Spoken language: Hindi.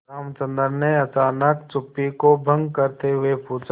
रामचंद्र ने अचानक चुप्पी को भंग करते हुए पूछा